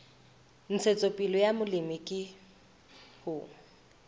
ntshetsopele ya molemi ke ho